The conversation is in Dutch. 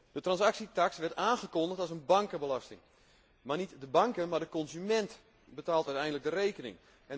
De transactietaks werd aangekondigd als een bankenbelasting, maar niet de banken, maar de consument betaalt uiteindelijk de rekening.